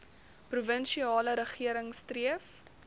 provinsiale regering streef